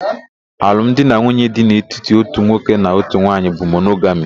Alụ m di na nwunye dị n'etiti ótù nwoke na ótù nwaanyị bụ monogami.